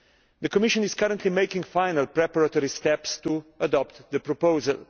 The Commission is currently making final preparatory steps to adopt the proposal.